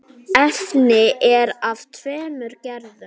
Efnið er af tveimur gerðum.